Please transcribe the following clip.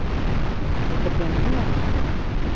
ਅੱਛਾ ਵਿਚ ਪਿੰਡ ਨਹੀਂ ਆਏ